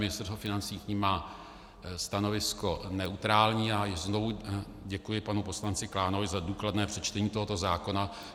Ministerstvo financí k nim má stanovisko neutrální a znovu děkuji panu poslanci Klánovi za důkladné přečtení tohoto zákona.